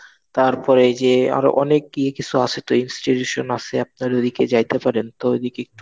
তারপরে এই যে আরো অনেক কি কিছু আছে তো Institution আছে আপনার ওদিকে জিতে পারেন তো,